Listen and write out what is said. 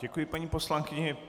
Děkuji paní poslankyni.